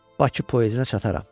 Bakı Poezinə çataram.